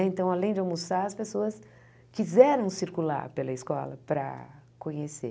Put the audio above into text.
Então, além de almoçar, as pessoas quiseram circular pela escola para conhecer.